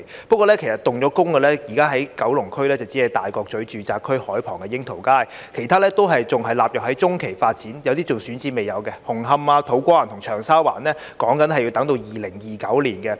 不過，現時已經動工的，只有九龍區大角咀住宅區海旁的櫻桃街，其他仍然納入在中期發展，有些更未有選址，紅磡、土瓜灣和長沙灣的工程亦要等到2029年才完成。